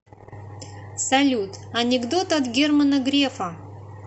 салют анекдот от германа грефа